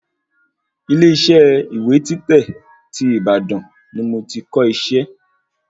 Ile isẹ́ ìwé títẹ̀ tí Ìbàdàn ni mo ti kọ isẹ́